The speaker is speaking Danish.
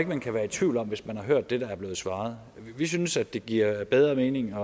man kan være i tvivl om hvis man kan har hørt det der er blevet svaret vi synes at det giver bedre mening